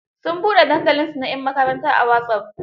Sun buɗe dadalinsu na 'yan makaranta a wasop.